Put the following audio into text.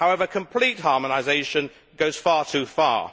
However, complete harmonisation goes far too far.